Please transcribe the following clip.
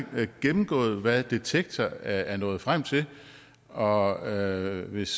gennemgået hvad detektor er nået frem til og hvis